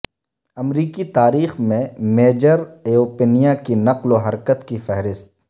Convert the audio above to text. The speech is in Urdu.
امریکی تاریخ میں میجر ایوپنیا کی نقل و حرکت کی فہرست